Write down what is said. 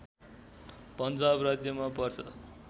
पन्जाब राज्यमा पर्छ